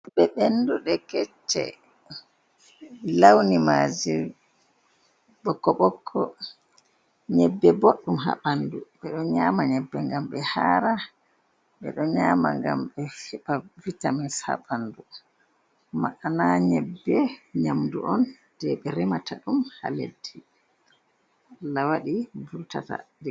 Nyebbe ɓenduɗe kecce launi maje boƙko-boƙko, nyebbe boɗɗum ha ɓandu ɓeɗo nyama nyebbe ngam ɓe hara, ɓeɗo nyama ngam ɓe heɓa vitamins ha ɓandu ma’ana nyebbe nyamdu on je ɓe remata ɗum ha leddi la wadi burtata.